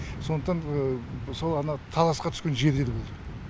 сондықтан сол ана таласқа түскен жерлер болды